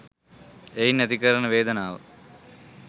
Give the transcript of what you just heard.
එයින් ඇති කරන වේදනාව